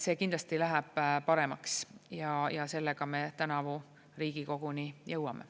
See kindlasti läheb paremaks ja sellega me tänavu Riigikoguni jõuame.